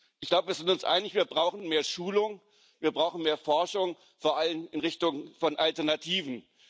Ich glaube, wir sind uns einig Wir brauchen mehr Schulung, wir brauchen mehr Forschung, vor allem in Richtung von Alternativen.